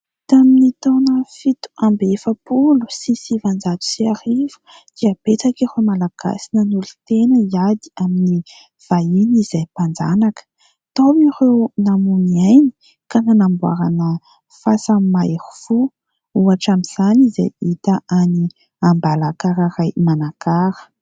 tamin'ny taona fito amby efapolo sy sivin-jato sy arivo dia betsaka ireo malagasy nanolo-tena hiady amin'ny vahiny izay mpanjanaka, tao ireo namony ainy ka nanamboarana fasan' ny mahery fo ohatra amin'izany izay hita any ambalakararay manakara